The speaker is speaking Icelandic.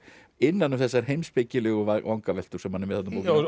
innan um þessar heimspekilegu vangaveltur sem hann er með